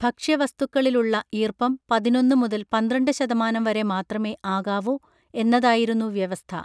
ഭക്ഷ്യവസ്തുക്കളിലുളള ഈർപ്പം പതിനൊന്ന് മുതൽ പന്ത്രണ്ട് ശതമാനം വരെ മാത്രമേ ആകാവൂ എന്നതായിരുന്നു വ്യവസ്ഥ